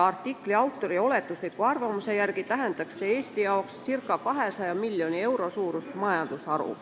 Artikli autori oletusliku arvamuse järgi tähendaks see Eestile circa 200 miljoni euro suurust majandusharu.